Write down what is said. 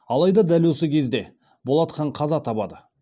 алайда дәл осы кезеңде болат хан қаза табады